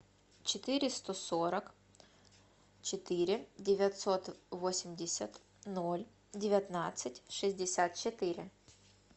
четыре сто сорок четыре девятьсот восемьдесят ноль девятнадцать шестьдесят четыре